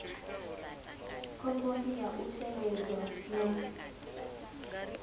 khomboni ya u shengedzwa na